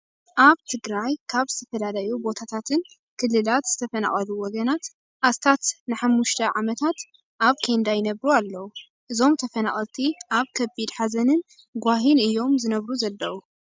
ኣብ ትግራይ ካብ ዝተፈለለዩ ቦታታትን ክልላት ዝተፈናቀኑ ወገናት ኣስታት ንሓምስተ ዓመታት ኣብ ኬንዳ ይነብሩ ኣለው። እዞም ተፈናቀቀልቲ ኣብ ከቢድ ሓዘንን ጓሂን እዮም ዝነብሩ ዘለው።